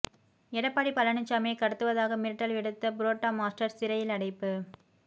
எடப்பாடி பழனிசாமியைக் கடத்துவதாக மிரட்டல் விடுத்த புரோட்டா மாஸ்டர் சிறையில் அடைப்பு